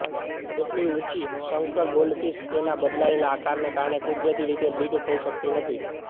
કેટલીક ઊંચી સંકર ગોલ્ડફીશ તેના બદલાયેલા આકારને કારણે કુદરતી રીતે બ્રીડ થઇ શકતી નથી